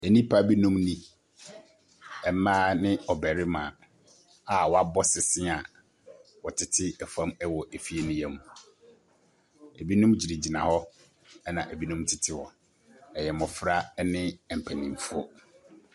Ɛnipa bi nom ni. Mmaa ne ɔbarima a wabɔ sese a ɔtete ɛfam wɔ efie no yɛm. Ebinom gyinagyina hɔ ɛna ebinom tete hɔ. Ɛyɛ mmɔfra ɛne mpanyinfoɔ.